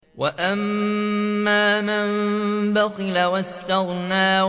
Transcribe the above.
وَأَمَّا مَن بَخِلَ وَاسْتَغْنَىٰ